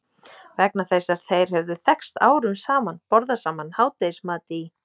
Vegna þess að þeir höfðu þekkst árum saman, borðað saman hádegismat í